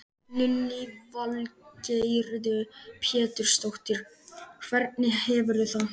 Lillý Valgerður Pétursdóttir: Hvernig hefurðu það?